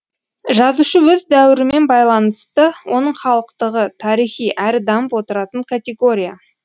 жазушы өз дәуірімен байланысты оның халықтығы тарихи әрі дамып отыратын категория